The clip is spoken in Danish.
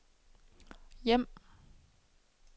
hjem